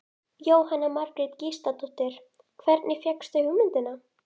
Jóhanna Margrét Gísladóttir: Hvernig fékkstu hugmyndina?